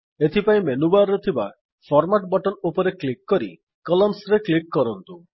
ଏଥିପାଇଁ menu bar ରେ ଥିବା ଫର୍ମାଟ୍ ବଟନ ଉପରେ କ୍ଲିକ୍ କରି କଲମ୍ନସ୍ ରେ କ୍ଲିକ୍ କରନ୍ତୁ